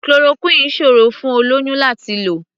Chloroquine ò ṣòrò fún olóyún láti lò.